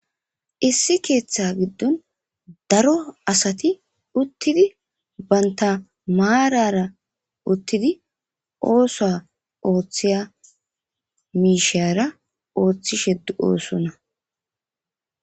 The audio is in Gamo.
Issi keeththa giddon daro asati uttidi baynta maarara uttidi ooso ooththiya miishara ooththishe d7oosonna.